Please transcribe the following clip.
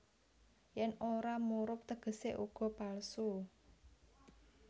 Yèn ora murub tegesé uga palsu